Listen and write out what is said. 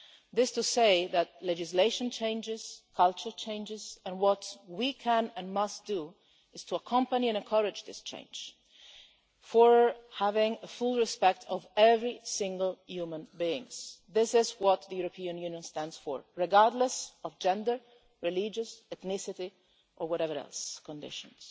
This is to say that legislation changes, culture changes, and what we can and must do is to accompany and encourage this change towards having full respect of every single human being this is what the European Union stands for regardless of gender, religious ethnicity or whatever other conditions.